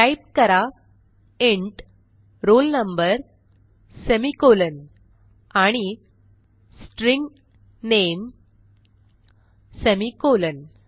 type करा int roll number semi colon आणि string नामे semi कॉलन